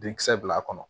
Denkisɛ bila a kɔnɔ